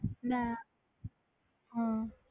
ਮੈਂ ਹਮ